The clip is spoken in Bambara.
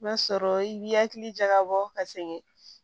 O b'a sɔrɔ i b'i hakili jagabɔ ka segin